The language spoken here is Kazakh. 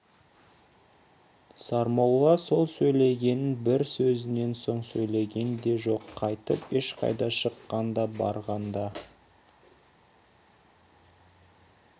сармолла сол сөйлеген бір сөзінен соң сөйлеген де жоқ қайтып ешқайда шыққан да барған да